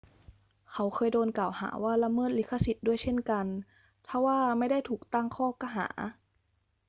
เขาเคยโดนกล่าวหาว่าละเมิดลิขสิทธิ์ด้วยเช่นกัน ทว่าไม่ได้ถูกตั้งข้อหา